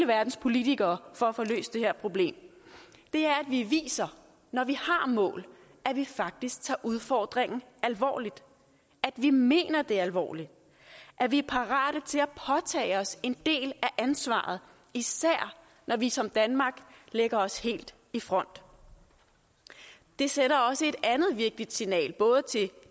verdens politikere for at få løst det her problem vi viser når vi har mål at vi faktisk tager udfordringen alvorligt at vi mener det alvorligt at vi er parate til at påtage os en del af ansvaret især når vi som danmark lægger os helt i front det sender også et andet vigtigt signal både til